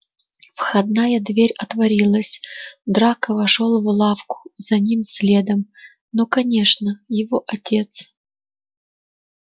входная дверь отворилась драко вошёл в лавку за ним следом ну конечно его отец